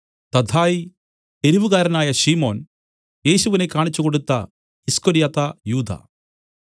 തദ്ദായി എരുവുകാരനായ ശിമോൻ യേശുവിനെ കാണിച്ചുകൊടുത്ത ഈസ്കര്യോത്താ യൂദാ